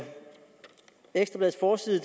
etuc også